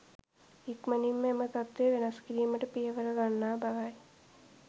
ඉක්මනින්ම එම තත්වය වෙනස් කිරීමට පියවර ගන්නා බවයි